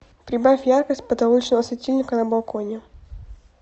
прибавь яркость потолочного светильника на балконе